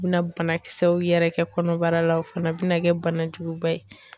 U bɛna banakisɛw yɛrɛ kɛ kɔnɔbara la o fana bɛna kɛ bana juguba ye.